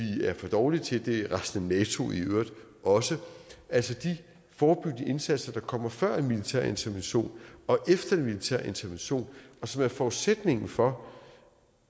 er for dårlige til det er resten af nato i øvrigt også altså de forebyggende indsatser der kommer før en militær intervention og efter en militær intervention og som er forudsætningen for